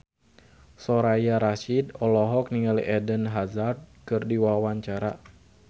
Soraya Rasyid olohok ningali Eden Hazard keur diwawancara